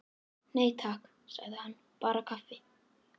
Nei, takk, sagði hann, bara kaffi.